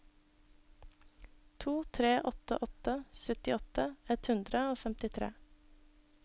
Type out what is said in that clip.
to tre åtte åtte syttiåtte ett hundre og femtitre